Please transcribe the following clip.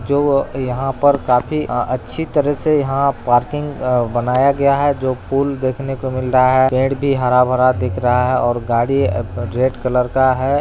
जो यहाँ पर काफी अ अच्छी तरह से यहाँ पार्किंग अ बनाया गया है| जो फूल देखने को मिल रहा है पेड़ भी हरा-भरा दिख रहा है और गाड़ी रेड कलर का है।